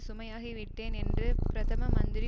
சுமையாகி விட்டேன் என்று பிரதம மந்திரி